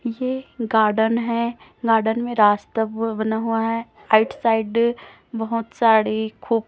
ये गार्डन है गार्डन में रास्ता ब बना हुआ है राईट साइड बहोत साड़ी खु --